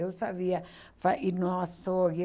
Eu sabia fa ir no açougue.